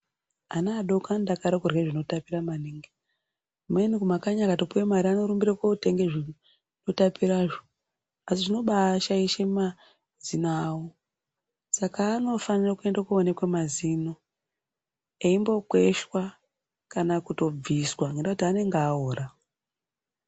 Ana adoko anodakarira kurya zvinotapira maningi . Amweni kumakanyi akatopuwe mare inorumbire kotenge zvinotapirazvo asi zvinobaashaishe mazino awo saka anobaafanire kuenda koonekwe mazino eindokweshwa kana kutobviswa ngendaa yekuti anenge aora.